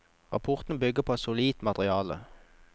Rapporten bygger på et solid materiale.